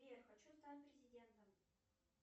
сбер хочу стать президентом